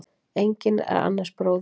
Enginn er annars bróðir í leik.